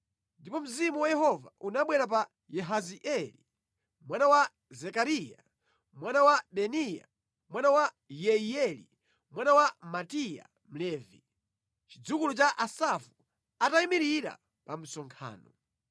Ndipo Mzimu wa Yehova unabwera pa Yahazieli mwana wa Zekariya, mwana wa Benaya, mwana wa Yeiyeli, mwana wa Mataniya Mlevi, chidzukulu cha Asafu, atayimirira mu msonkhano.